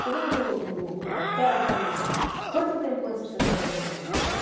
Chegamos no no cartório falando, quanto tempo antes precisa trazer os documentos?